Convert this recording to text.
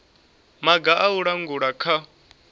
maga a u langula kha